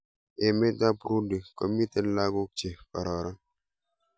Emet ab Burundi komiten lakok che kararan